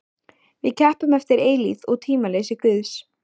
Við keppum eftir eilífð og tímaleysi Guðs.